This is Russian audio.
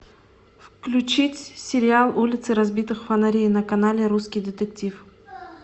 включить сериал улицы разбитых фонарей на канале русский детектив